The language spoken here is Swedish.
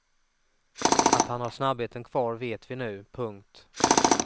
Att han har snabbheten kvar vet vi nu. punkt